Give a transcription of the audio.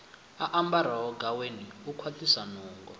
ambaraho gaweni u kwaṱhisa nungo